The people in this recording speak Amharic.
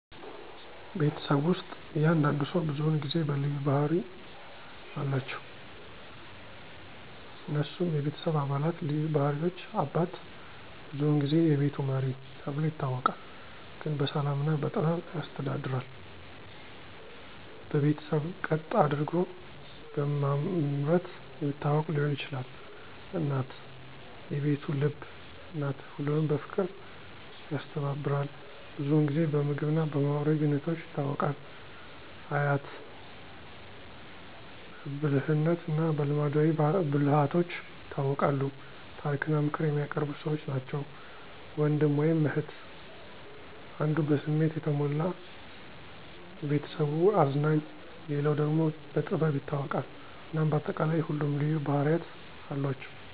ቤተሰብ ውስጥ እያንዳንዱ ሰው ብዙውን ጊዜ በልዩ ባህሪ አለቸው። እነሱም፦ የቤተሰብ አባላት ልዩ ባህሪዎች • አባት : ብዙውን ጊዜ "የቤቱ መሪ" ተብሎ ይታወቃል፤ ግን በሰላም እና በጥበብ ያስተዳድራል። በቤተሰብ ቀጥ አደርጎ በማምረት የሚታወቅ ሊሆን ይችላል። • እናት : "የቤቱ ልብ" ናት፤ ሁሉንም በፍቅር ያስተባብራል። ብዙውን ጊዜ በምግብ እና በማህበራዊ ግንኙነቶች ይታወቃል። • አያት/አያት : በብልህነት እና በልማዳዊ ብልሃቶች ይታወቃሉ፤ ታሪክ እና ምክር የሚያቀርቡ ሰዎች ናቸው። • ወንድም/እህት : አንዱ በስሜት የተሞላ (የቤተሰቡ አዝናኝ)፣ ሌላው ደግሞ በጥበብ ይታወቃል። እናም በአጠቃላይ ሁሉም ልዩ ባህርያት አሏቸው።